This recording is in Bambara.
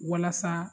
Walasa